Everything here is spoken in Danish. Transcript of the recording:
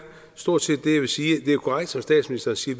stort set det jeg vil sige det er korrekt som statsministeren siger